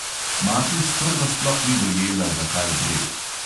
Mati sprva sploh ni dojela, za kaj gre.